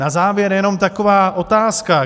Na závěr jenom taková otázka.